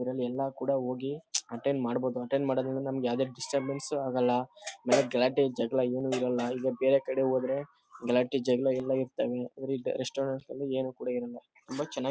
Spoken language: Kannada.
ಕೂಡ ಹೋಗಿ ಅಟೆಂಡ್ ಕೂಡ ಮಾಡ್ಬಹುದು ಅಟೆಂಡ್ ಮಾಡೋದ್ರಿಂದ ನಮಗೆ ಡಿಸ್ಟರ್ಬನ್ಸ್ ಅಗಲ್ಲ ಗಲಾಟೆ ಜಗಳ ಎನೂ ಇರಲ್ಲ ಈಗ ಬೇರೆ ಕಡೆ ಹೋದ್ರೆ ಗಲಾಟೆ ಜಗಳ ಎಲ್ಲ ಇರ್ತಾವೆ ಇವರ ರೆಸ್ಟೋರಂಟ್ ಲಿ ಏನೂ ಕೂಡ ಇರಲ್ಲ ತುಂಬ ಚೆನ್ನಾಗಿ--